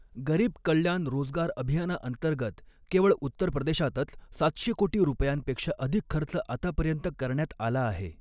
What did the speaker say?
गरीब कळ्याण रोजगार अभियाना अंतर्गत केवळ उत्तर प्रदेशातच सातशे कोटी रुपयांपेक्षा अधिक खर्च आतापर्यंत करण्यात आला आहे.